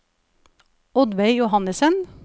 Oddveig Johannesen